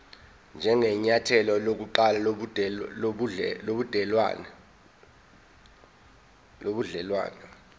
njengenyathelo lokuqala lobudelwane